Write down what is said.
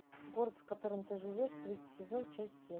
город в котором ты живешь третий сезон часть семь